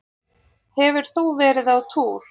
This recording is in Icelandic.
Hefur þú verið á túr?